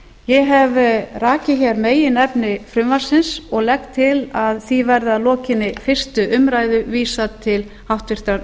ég hef rakið meginefni frumvarpsins og legg til að því verði að lokinni fyrstu umræðu vísað til háttvirtrar